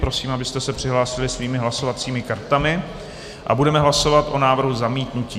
Prosím, abyste se přihlásili svými hlasovacími kartami, a budeme hlasovat o návrhu zamítnutí.